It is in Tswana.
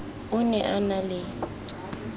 o ne a na le